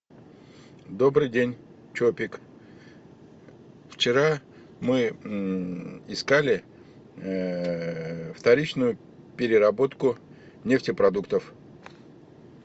добрый день чопик вчера мы искали вторичную переработку нефтепродуктов